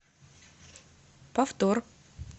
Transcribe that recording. повтор